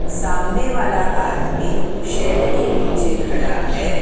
सामने वाला आदमी शेड के नीचे खड़ा है।